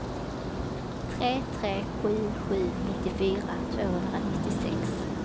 tre tre sju sju nittiofyra tvåhundranittiosex